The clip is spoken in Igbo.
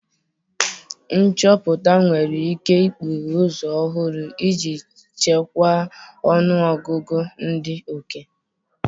Nchọpụta nwere ike ikpughe ụzọ ọhụrụ iji chịkwaa ọnụ ọgụgụ ndị oke.